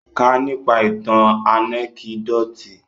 Kà nípa ìtàn ànẹ́kídòtì!